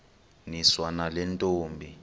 niswa nale ntombi